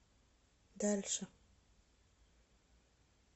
дальше